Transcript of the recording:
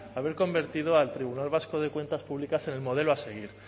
haber convertido al tribunal vasco de cuentas públicas en el modelo a seguir